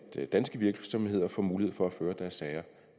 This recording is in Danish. danske virksomheder får mulighed for at føre deres sager